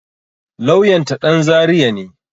Lauyan ta ɗan zaria ne